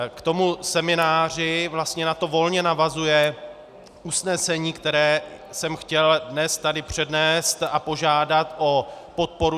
K tomu semináři vlastně na to volně navazuje usnesení, které jsem chtěl dnes tady přednést a požádat o podporu.